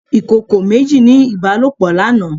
Ìkòkò méjì ní ìbálòpọ̀ lánàá.